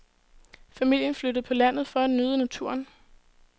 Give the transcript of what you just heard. Familien flyttede på landet for at nyde naturen.